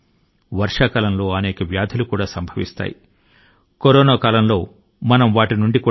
corona మహమ్మారి కాలం లో ఈ వ్యాధుల బారి నుండి కూడా మనల్ని మనం రక్షించుకోవాలి